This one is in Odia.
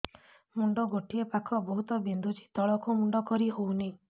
ମୁଣ୍ଡ ଗୋଟିଏ ପାଖ ବହୁତୁ ବିନ୍ଧୁଛି ତଳକୁ ମୁଣ୍ଡ କରି ହଉନି